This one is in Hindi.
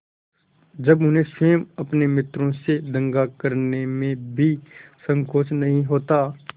जब उन्हें स्वयं अपने मित्रों से दगा करने में भी संकोच नहीं होता